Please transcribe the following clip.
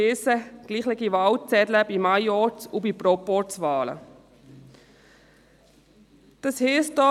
Dies würde gleiche Wahlzettel für Majorz- und für Proporzwahlen bedeuten.